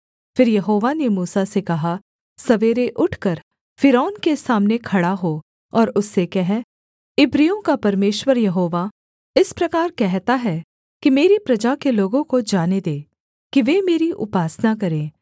फिर यहोवा ने मूसा से कहा सवेरे उठकर फ़िरौन के सामने खड़ा हो और उससे कह इब्रियों का परमेश्वर यहोवा इस प्रकार कहता है कि मेरी प्रजा के लोगों को जाने दे कि वे मेरी उपासना करें